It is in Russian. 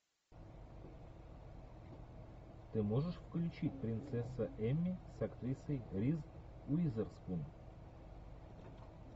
ты можешь включить принцесса эмми с актрисой риз уизерспун